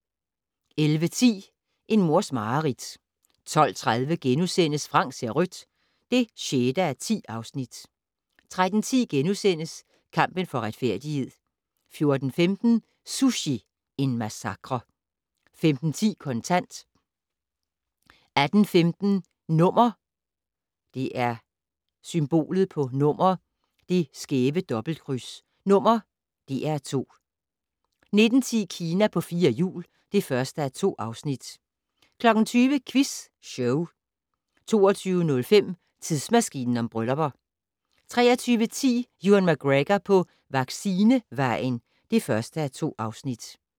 11:10: En mors mareridt 12:30: Frank ser rødt (6:10)* 13:10: Kampen for retfærdighed * 14:15: Sushi - en massakre 15:10: Kontant 18:15: #DR2 19:10: Kina på fire hjul (1:2) 20:00: Quiz Show 22:05: Tidsmaskinen om bryllupper 23:10: Ewan McGregor på vaccinevejen (1:2)